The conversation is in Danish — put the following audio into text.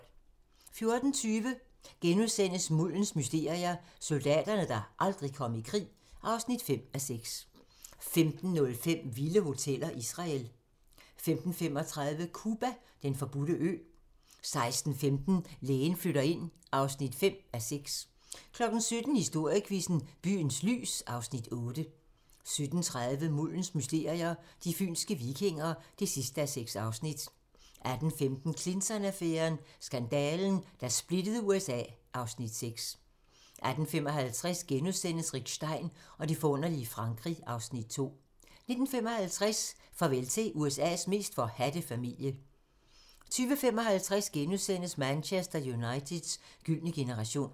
14:20: Muldens mysterier - Soldaterne, der aldrig kom i krig (5:6)* 15:05: Vilde hoteller: Israel 15:35: Cuba: Den forbudte ø 16:15: Lægen flytter ind (5:6) 17:00: Historiequizzen: Byens lys (Afs. 8) 17:30: Muldens mysterier - De fynske vikinger (6:6) 18:15: Clinton-affæren: Skandalen, der splittede USA (Afs. 6) 18:55: Rick Stein og det forunderlige Frankrig (Afs. 2)* 19:55: Farvel til USA's mest forhadte familie 20:55: Manchester Uniteds gyldne generation *